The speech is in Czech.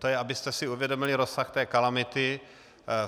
To jen abyste si uvědomili rozsah té kalamity.